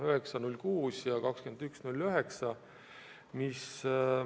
, 9.06. ja 21.09.